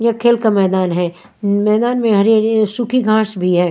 यह खेल का मैदान है उमम मैदान में हरी-हरी सूखी घाँश भी है।